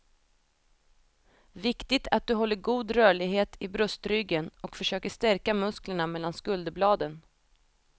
Viktigt att du håller god rörlighet i bröstryggen och försöker stärka musklerna mellan skulderbladen.